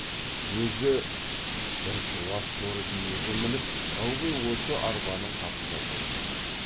өзі бір жуас торы биеге мініп ылғи осы арбаның қасында жүріп отырды